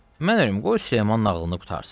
Mən ölüm, qoy Süleyman nağılını qurtarsın.